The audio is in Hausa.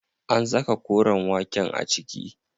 An saka koren waken a ciki?